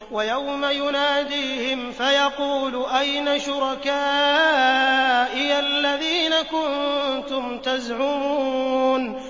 وَيَوْمَ يُنَادِيهِمْ فَيَقُولُ أَيْنَ شُرَكَائِيَ الَّذِينَ كُنتُمْ تَزْعُمُونَ